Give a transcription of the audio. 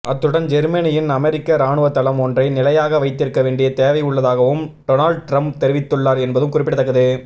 அத்துடன் ஜேர்மனியில் அமெரிக்க இராணுவத்தளம் ஒன்றை நிலையாக வைத்திருக்க வேண்டிய தேவை உள்ளதாகவும் டொனால்ட் ட்ரம்ப் தெரிவித்துள்ளார் என்பதும் குறிப்பிடத்தக்கது